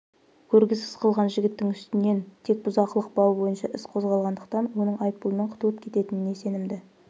көргісіз қылған жігіттің үстінен тек бұзақылық бабы бойынша іс қозғалғандықтан оның айыппұлмен құтылып кететініне сенімді